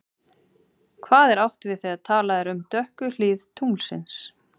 Hvað er átt við þegar talað er um dökku hlið tunglsins?